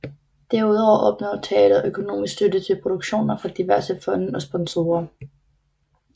Derudover opnår teatret økonomisk støtte til produktioner fra diverse fonde og sponsorer